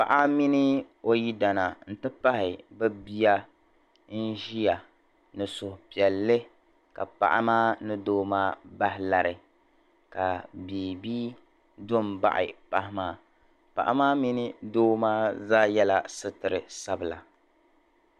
Paɣa mini o yidana nti pahi bɛ bia n-ʒia ni suhupiɛlli ka paɣa maa ni doo bahi lari ka biibi do m-baɣi paɣa maa. Paɣa maa mini doo maa zaa yɛla sitir' sabila.